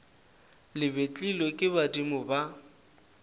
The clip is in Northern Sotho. le betlilwe ke badimo ba